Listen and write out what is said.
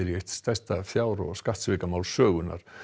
í eitt stærsta fjár og skattsvikamál sögunnar